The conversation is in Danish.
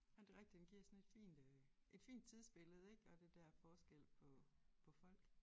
Ja det rigtigt den giver sådan et fint øh et fint tidsbillede ik og det der forskel på på folk